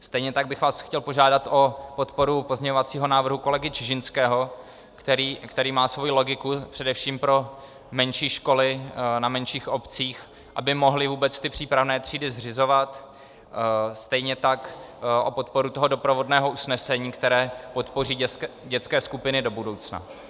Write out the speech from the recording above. Stejně tak bych vás chtěl požádat o podporu pozměňovacího návrhu kolegy Čižinského, který má svou logiku především pro menší školy na menších obcích, aby mohly vůbec ty přípravné třídy zřizovat, stejně tak o podporu toho doprovodného usnesení, které podpoří dětské skupiny do budoucna.